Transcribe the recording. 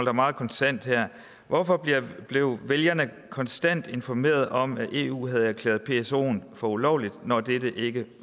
er meget kontant hvorfor blev vælgerne konstant informeret om at eu havde erklæret psoen for ulovlig når dette ikke